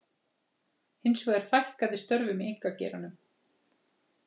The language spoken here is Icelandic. Hins vegar fækkaði störfum í einkageiranum